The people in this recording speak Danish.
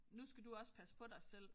Nu skal du også passe på dig selv